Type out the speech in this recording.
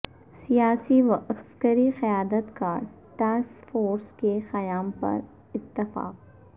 سیاسی و عسکری قیادت کا ٹاسک فورس کے قیام پر اتفاق